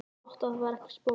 Gott ef það var ekki spói.